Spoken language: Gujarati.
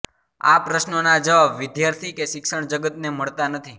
આ પ્રશ્નોના જવાબ વિદ્યાર્થી કે શિક્ષણ જગતને મળતા નથી